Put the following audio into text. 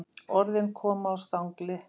Orðin koma á stangli.